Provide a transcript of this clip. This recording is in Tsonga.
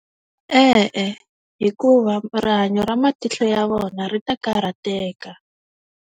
E-e, hikuva rihanyo ra matihlo ya vona ri ta karhateka.